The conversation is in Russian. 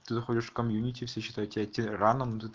заходишь в комьюнити все считают тебя тираном да т